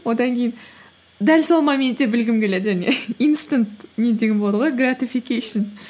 одан кейін дәл сол моментте білгім келеді және инстант не деген болады ғой гратификейшн